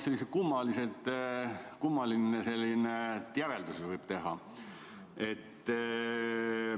Seal toimub midagi kummalist, sellise järelduse võib teha.